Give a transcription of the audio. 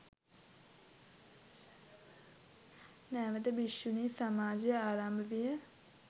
නැවත භික්‍ෂුණී සමාජය ආරම්භ විය.